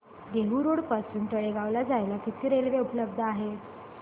Dehu road पासून तळेगाव ला जायला किती रेल्वे उपलब्ध आहेत